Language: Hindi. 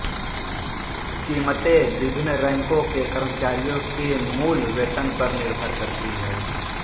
कीमतें विभिन्न रैंकों के कर्मचारियों के मूल वेतन पर निर्भर करती हैं